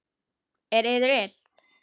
Er yður illt?